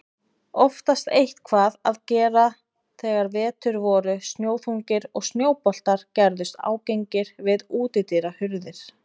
Oftast eitthvað að gera þegar vetur voru snjóþungir og snjóboltar gerðust ágengir við útidyrahurðir.